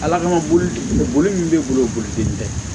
Ala kama bolo tɛ kelen ye bolo min bɛ boli boli te